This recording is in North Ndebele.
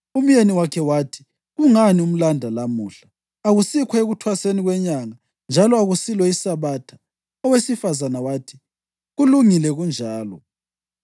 Umyeni wakhe wathi, “Kungani umlanda lamuhla? Akusikho ekuThwaseni kweNyanga njalo akusilo iSabatha.” Owesifazane wathi, “Kulungile kunjalo.”